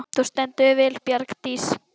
Þú stendur þig vel, Bjargdís!